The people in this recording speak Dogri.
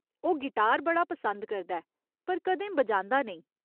ओह् गिटार बड़ा पसंद करदा ऐ पर कदें बजांदा नेईं।